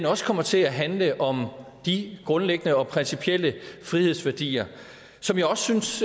også kommer til at handle om de grundlæggende og principielle frihedsværdier som jeg også synes